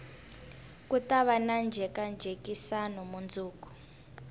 ku tava na njhekanjhekisano mundzuku